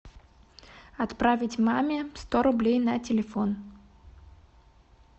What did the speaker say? отправить маме сто рублей на телефон